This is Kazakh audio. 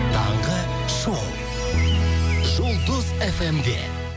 таңғы шоу жұлдыз фм де